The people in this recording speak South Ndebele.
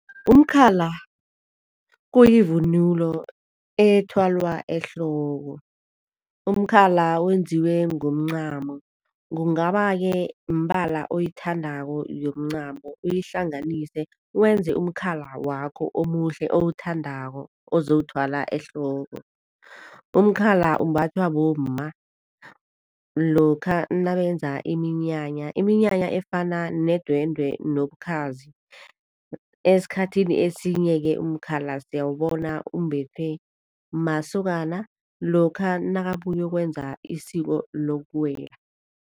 Umkhala kuyivunulo ethwalwa ehloko. Umkhala wenziwe ngomncamo, kungaba-ke mbala oyithandako yemincamo uyihlanganise, wenze umkhala wakho omuhle owuthandako, ozowuthwala ehloko. Umkhala umbathwa bomma lokha nabenza iminyanya, iminyanya efana nedwendwe nobukhazi. Esikhathini esinye-ke umkhala siyawubona umbethwe masokana lokha nakabuyokwenza isiko lokuwela.